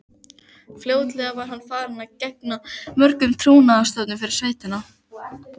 Fljótlega var hann farinn að gegna mörgum trúnaðarstörfum fyrir sveitina.